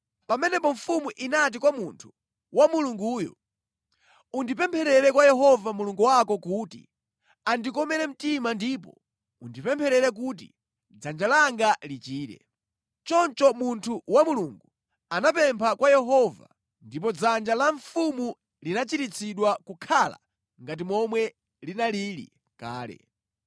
Pamenepo mfumu inati kwa munthu wa Mulunguyo, “Undipempherere kwa Yehova Mulungu wako kuti andikomere mtima ndipo undipempherere kuti dzanja langa lichire.” Choncho munthu wa Mulungu anapempha kwa Yehova, ndipo dzanja la mfumu linachiritsidwa nʼkukhala ngati momwe linalili kale.